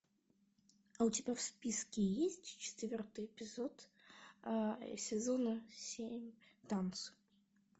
а у тебя в списке есть четвертый эпизод сезона семь танцы